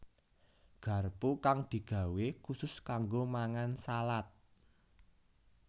Garpu kang digawé khusus kanggo mangan salad